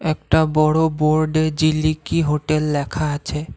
একটা বড়ো বোর্ডে জিলিকি হোটেল লেখা আছে।